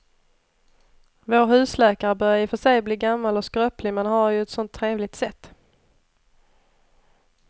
Vår husläkare börjar i och för sig bli gammal och skröplig, men han har ju ett sådant trevligt sätt!